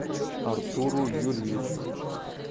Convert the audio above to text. артуру юрьевичу